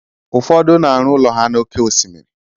Ụfọdụ na-arụ ụlọ ha na óké osimiri